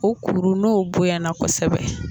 U kurun n'o bonyana kosɛbɛ